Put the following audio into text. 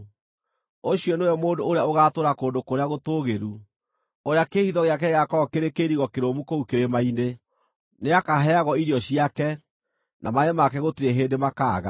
Ũcio nĩwe mũndũ ũrĩa ũgaatũũra kũndũ kũrĩa gũtũũgĩru, ũrĩa kĩĩhitho gĩake gĩgaakorwo kĩrĩ kĩirigo kĩrũmu kũu kĩrĩma-inĩ. Nĩakaheagwo irio ciake, na maaĩ make gũtirĩ hĩndĩ makaaga.